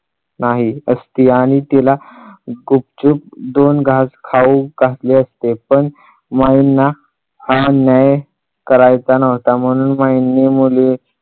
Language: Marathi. नाही असती आणि तिला गुपचूप दोन घास खाऊ घातले असते. पण माईंना हा न्याय करायचा नव्हता. म्हणून महिने मुली